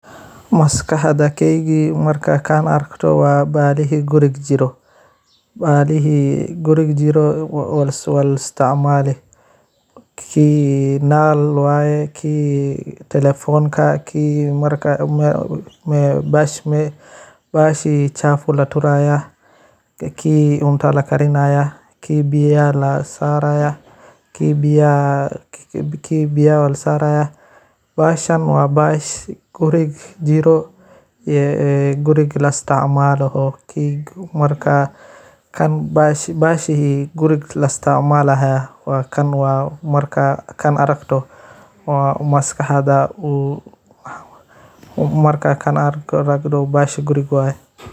Maskaxdeyda markan kan arakto wa balihi guriga jiro walaisticmali, kii nal waye kii talephonka si marka bahashi chafu laturaya ki cunta lakarinaya, kii biyaha lasaraya kii biyaha lasaraya , bahashaan wa bash guriga jiro, ee guriga laisticmalo marka kan bahashi gutiga laisticmalayo wa kaan marka kaan aragto, wa maskaxda bahasha guriga waye.